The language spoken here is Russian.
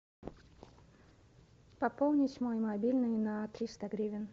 пополнить мой мобильный на триста гривен